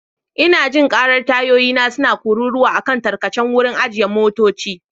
Ina jin karar tayoyina suna kururuwa a kan tarkacen wurin ajiye motoci.